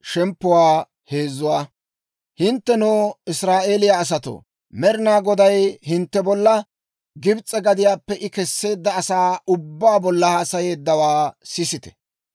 Hinttenoo Israa'eeliyaa asatoo, Med'inaa Goday hintte bolla, Gibs'e gadiyaappe I Kesseedda asaa ubbaa bolla haasayeeddawaa sisite.